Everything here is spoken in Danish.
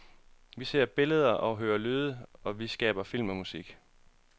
Vi ser billeder og hører lyde, og vi skaber film og musik.